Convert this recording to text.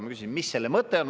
Ma küsisin, mis selle mõte on.